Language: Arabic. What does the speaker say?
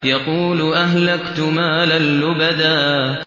يَقُولُ أَهْلَكْتُ مَالًا لُّبَدًا